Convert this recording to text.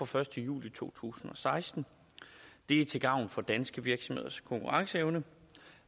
første juli to tusind og seksten er til gavn for danske virksomheders konkurrenceevne